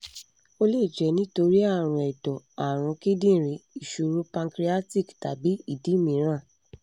ó lè jẹ́ nítorí ààrùn ẹ̀dọ̀ ààrùn kíndìnrín ìṣòro páncreatic tàbí ìdí mìíràn